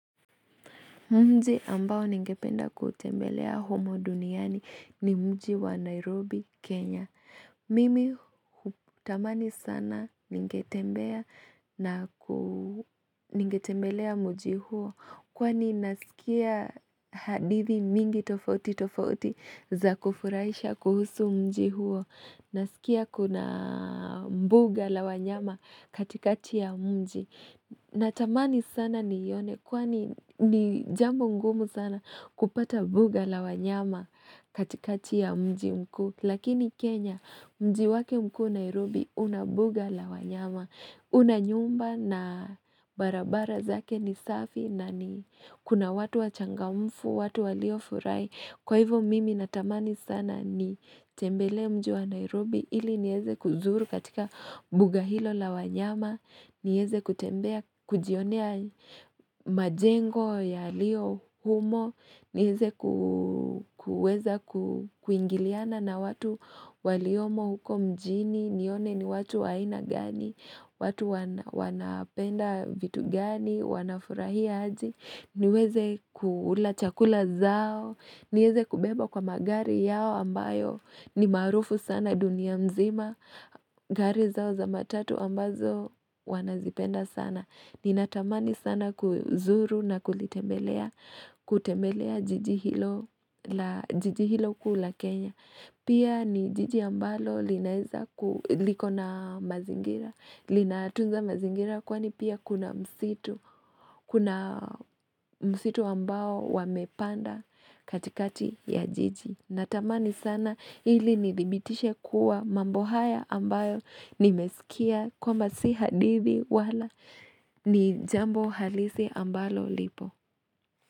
Mji ambao ningependa kutembelea humo duniani ni mji wa Nairobi, Kenya. Mimi hutamani sana ningetembea ningetembelea mji huo, kwani nasikia hadithi mingi tofauti tofauti za kufurahisha kuhusu mji huo. Nasikia kuna mbuga la wanyama katikati ya mji. Na tamani sana niione kwani ni jambo ngumu sana kupata mbuga la wanyama katikati ya mji mkuu. Lakini Kenya mji wake mkuu Nairobi una mbuga la wanyama. Unanyumba na barabara zake ni safi na ni kuna watu wachangamfu, watu waliofurahi. Kwa hivo mimi natamani sana ni tembele mjua Nairobi ili nieze kuzuru katika mbuga hilo la wanyama, niweze kutembea, kujionea majengo ya lio humo, nieze kuweza kuingiliana na watu waliomo huko mjini, nione ni watu waina gani, watu wanapenda vitu gani, wanafurahia aje, niweze kula chakula zao, niweze kubebwa kwa magari yao ambayo ni maarufu sana dunia mzima, gari zao za matatu ambazo wanazipenda sana. Ninatamani sana kuzuru na kulitembelea jiji hilo kuu la Kenya. Pia ni jiji ambalo liko na mazingira, linatunza mazingira kwani pia kuna msitu Kuna msitu ambao wamepanda katikati ya jiji Natamani sana ili nidhibitishe kuwa mambo haya ambayo nimesikia kwamba sio hadithi wala ni jambo halisi ambalo lipo.